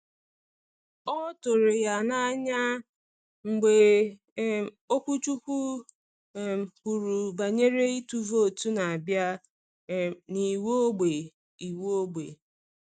Ọ tụrụ ya n’anya mgbe um okwuchukwu um kwuru banyere ịtụ vootu na-abịa um na iwu ógbè. iwu ógbè.